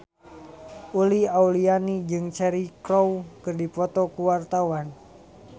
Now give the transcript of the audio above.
Uli Auliani jeung Cheryl Crow keur dipoto ku wartawan